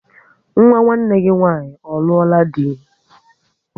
Nwa nwanne gị nwaanyị ọ ruola di?